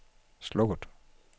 slukket